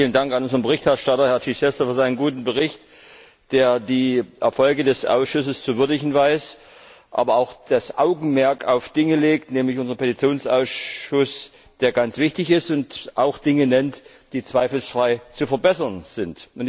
Vielen Dank an unseren Berichterstatter, Herrn Chichester, für seinen guten Bericht, der die Erfolge des Ausschusses zu würdigen weiß, aber auch das Augenmerk auf Dinge legt, nämlich unseren Petitionsausschuss, der ganz wichtig ist, und auch Dinge nennt, die zweifelsfrei zu verbessern sind.